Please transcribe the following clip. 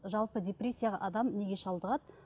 жалпы депрессияға адам неге шалдығады